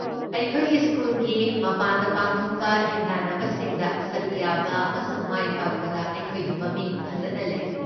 ꯑꯩꯈꯣꯏꯒꯤ ꯁ꯭ꯀꯨꯜꯒꯤ ꯃꯄꯥꯟꯗ ꯄꯥꯡꯊꯣꯛꯄ ꯍꯦꯟꯗꯥꯟꯅꯕꯁꯤꯡꯗ ꯁꯔꯨꯛ ꯌꯥꯕ ꯑꯃꯁꯨꯡ ꯃꯥꯏꯄꯥꯛꯄꯗ ꯑꯩꯈꯣꯏꯒꯤ ꯃꯃꯤꯡ ꯐꯖꯅ ꯂꯩ꯫